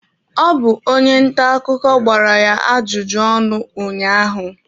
Ọ bụ onye nta akụkọ gbara ya ajụjụ ọnụ ụnyaahụ.